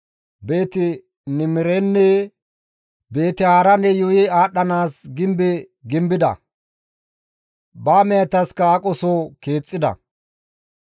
Beeti-Niimirenenne Beeti-Haaraane yuuyi aadhdhanaas gimbe gimbida; ba mehetaska aqoso keexxida.